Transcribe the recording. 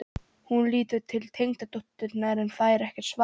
Hún lítur til tengdadótturinnar en fær ekkert svar.